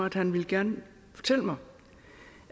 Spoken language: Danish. at han gerne ville fortælle mig